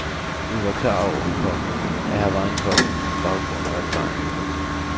Vi var klar over, komma at her var en kok med baggrund og erfaring. punktum